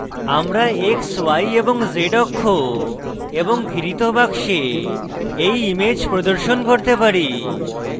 আমরা x y এবং z অক্ষ এবং ঘিরিত box we ইমেজ প্রদর্শন করতে পারি